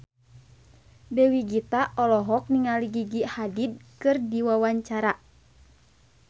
Dewi Gita olohok ningali Gigi Hadid keur diwawancara